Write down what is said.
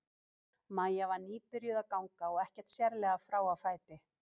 Maja var nýbyrjuð að ganga og ekkert sérlega frá á fæti.